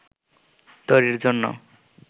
তৈরির জন্য